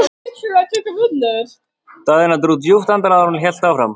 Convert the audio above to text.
Mamma spyr strax hvað ami að.